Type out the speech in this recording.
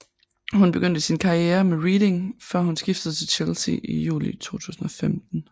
Hun begyndte sin karriere med Reading før hun skiftede til Chelsea i juli 2015